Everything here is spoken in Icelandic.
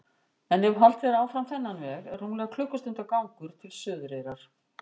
En ef haldið er áfram þennan veg er rúmlega klukkustundar gangur til Suðureyrar.